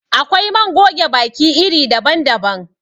Akwai man goge baki iri daban daban.